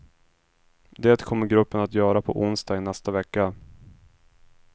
Det kommer gruppen att göra på onsdag i nästa vecka.